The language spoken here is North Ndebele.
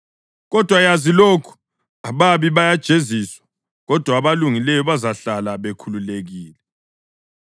Kodwa yazi lokhu, ababi bazajeziswa kodwa abalungileyo bazahlala bekhululekile.